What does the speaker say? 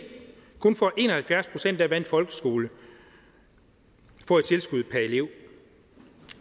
kun får en og halvfjerds procent af hvad en folkeskole får i tilskud per elev